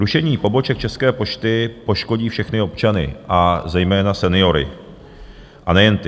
Rušení poboček České pošty poškodí všechny občany a zejména seniory, a nejen ty.